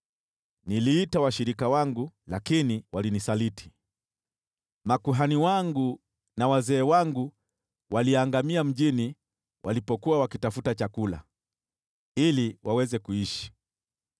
“Niliita washirika wangu lakini walinisaliti. Makuhani wangu na wazee wangu waliangamia mjini walipokuwa wakitafuta chakula ili waweze kuishi.